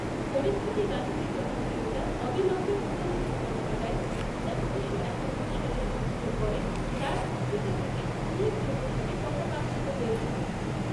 পরীক্ষাটি গান্ধীর জনপ্রিয়তার অবিলম্বে পুনরুজ্জীবন ঘটায়, যা উনিশশো একাত্তর সালের যুদ্ধের পরে তার উচ্চতা থেকে উল্লেখযোগ্যভাবে পতাকাঙ্কিত হয়েছিল।